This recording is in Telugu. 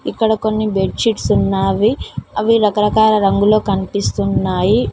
ఇక్కడ కొన్ని బెడ్ షీట్స్ ఉన్నావి అవి రకరకాల రంగులో కనిపిస్తున్నాయి.